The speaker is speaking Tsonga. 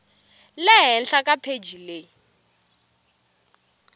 le henhla ka pheji leyi